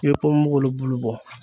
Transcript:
I bɛ ponponpogolon bulu bɔ